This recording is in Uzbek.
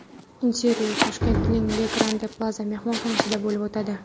Intervyu Toshkentning Le Grande Plaza mehmonxonasida bo‘lib o‘tadi.